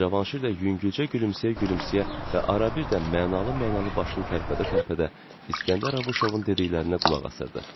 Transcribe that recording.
Və Cavanşir də yüngülcə gülümsəyə-gülümsəyə və arabir də mənalı-mənalı başını tərpədə-tərpədə İskəndər Abışovun dediklərinə qulaq asırdı.